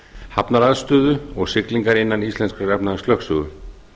hafnaraðstöðu og siglingar innan íslenskrar efnahagslögsögu